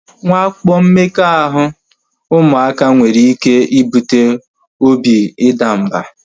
Nwakpo mmekọahụ ụmụaka nwere ike ibute obi idamba